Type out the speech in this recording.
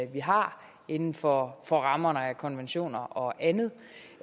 vi har inden for for rammerne af konventioner og andet